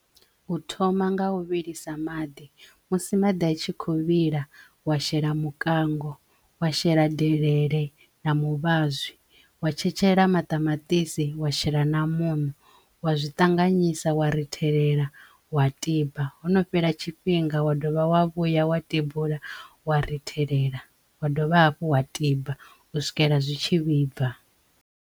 U thoma nga u vhilisa maḓi musi maḓi a tshi kho vhila wa shela mukango, wa shela delele na muvhazwi wa tshetshelesa maṱamaṱisi, wa shela na muṋo wa zwi ṱanganyisa, wa rithelela, wa tiba hono fhela tshifhinga, wa dovha wavhuya, wa tibula, wa rithelela, wa dovha hafhu, wa tiba u swikela zwi tshi vhibva.